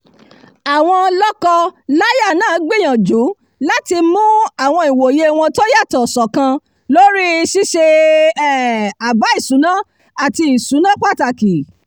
àwọn lọ́kọ-láya náà gbìyànjú láti mú àwọn ìwòye wọn tó yàtọ̀ ṣọ̀kan lórí i ṣíṣe um àbá ìṣúná àti ìṣúná pàtàkì